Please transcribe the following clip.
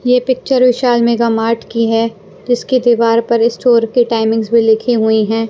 ये picture Vishal Mega Mart की है जिसके दीवार पर स्टोर के टाइमिंग्स भी लिखी हुई हैं।